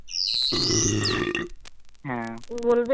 হ্য়াঁ বলবে